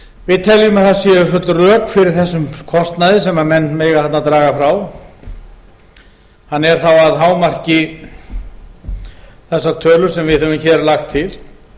við teljum að það séu full rök fyrir þessum kostnaði sem menn mega þarna draga frá hann er þá að hámarki þessar tölur sem við höfum hér lagt til